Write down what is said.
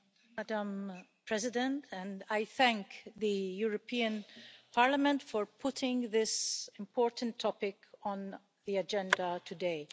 Madam President, I thank the European Parliament for putting this important topic on the agenda today.